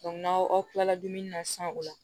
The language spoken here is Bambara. n'aw kila la dumuni na san o la